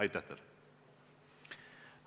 Aitäh teile!